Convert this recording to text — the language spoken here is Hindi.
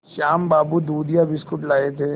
श्याम बाबू दूधिया बिस्कुट लाए थे